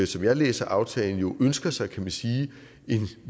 som jeg læser aftalen ønsker sig kan man sige en